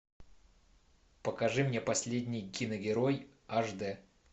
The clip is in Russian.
покажи мне последний киногерой аш д